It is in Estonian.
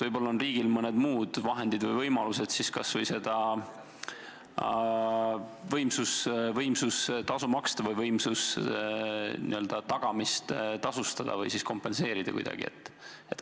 Võib-olla on riigil mõned muud vahendid või võimalused kas või seda võimsustasu maksta, n-ö võimuse tagamist tasustada või kompenseerida kuidagi?